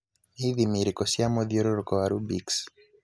nĩ ĩthimi ĩrĩkũ cia mũthiũrũrũko wa rubix